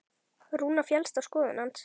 Rúna féllst á skoðun hans.